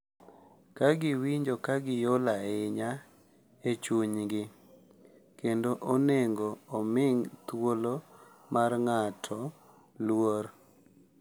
Ka giwinjo ka giol ahinya e chunygi, kendo onego omi thuolo mar ng’ato luor